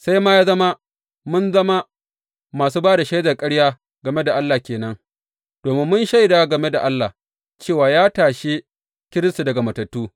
Sai ma ya zama mun zama masu ba da shaidar ƙarya game da Allah ke nan, domin mun shaida game da Allah cewa ya tashe Kiristi daga matattu.